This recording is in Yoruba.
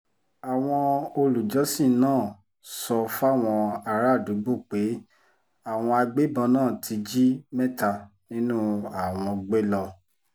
àwọn olùjọ́sìn náà sọ fáwọn àràádúgbò pé àwọn agbébọn náà ti jí mẹ́ta nínú àwọn gbé lọ